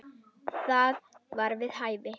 Það var við hæfi.